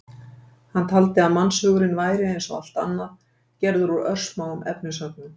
Hann taldi að mannshugurinn væri, eins og allt annað, gerður úr örsmáum efnisögnum.